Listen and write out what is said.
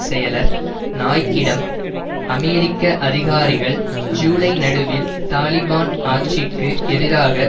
செயலர் நாய்க்கிடம் அமெரிக்க அதிகாரிகள் ஜூலை நடுவில் தாலிபான் ஆட்சிக்கு எதிராக